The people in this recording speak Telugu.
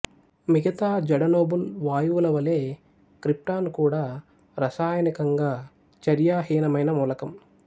మిగతా జడనోబుల్ వాయువులవలె క్రిప్టాన్ కూడా రసాయనికంగా చర్యాహీనమైన మూలకం